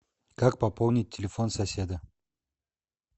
как пополнить телефон соседа